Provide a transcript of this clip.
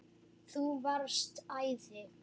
Þú varst æði.